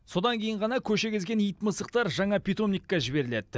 содан кейін ғана көше кезген ит мысықтар жаңа питомникке жіберіледі